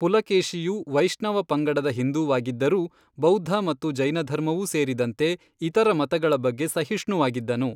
ಪುಲಕೇಶಿಯು ವೈಷ್ಣವ ಪಂಗಡದ ಹಿಂದೂವಾಗಿದ್ದರೂ, ಬೌದ್ಧ ಮತ್ತು ಜೈನಧರ್ಮವೂ ಸೇರಿದಂತೆ ಇತರ ಮತಗಳ ಬಗ್ಗೆ ಸಹಿಷ್ಣುವಾಗಿದ್ದನು.